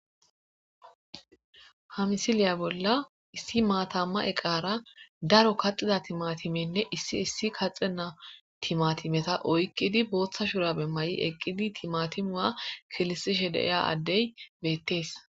ha misiliya bolla issi maatamma eqara daro kaxida timatimenne issi issi kaxe naa timatimeta oykqidi booththa shura be may7i eqqidi timatimua kilisishe deiya addey beettees